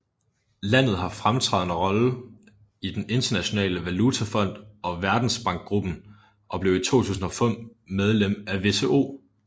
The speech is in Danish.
Landet har en fremtrædende rolle i den Internationale Valutafond og Verdensbankgruppen og blev i 2005 medlem af WTO